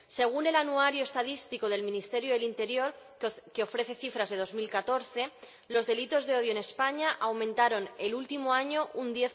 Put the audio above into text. Según el Anuario Estadístico del Ministerio del Interior, que ofrece cifras de 2014, los delitos de odio en España aumentaron el último año un